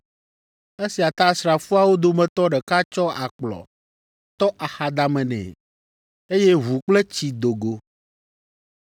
Esia ta asrafoawo dometɔ ɖeka tsɔ akplɔ tɔ axadame nɛ, eye ʋu kple tsi do go.